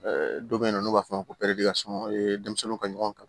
dɔ bɛ yen nɔ n'u b'a f'o ma ko denmisɛnninw ka ɲɔgɔn kan